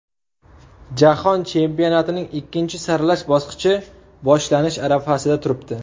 Jahon chempionatining ikkinchi saralash bosqichi boshlanish arafasida turibdi.